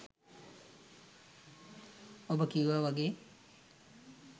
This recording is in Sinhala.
ඔබ කිව්වා වගේ